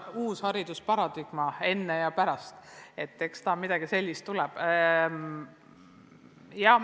Uus haridusparadigma enne ja pärast kriisi – eks ta midagi sellist tuleb.